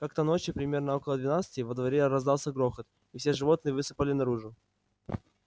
как-то ночью примерно около двенадцати во дворе раздался грохот и все животные высыпали наружу